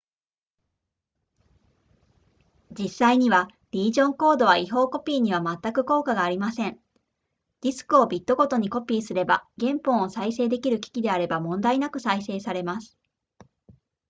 実際にはリージョンコードは違法コピーにはまったく効果がありませんディスクをビットごとにコピーすれば原本を再生できる機器であれば問題なく再生されます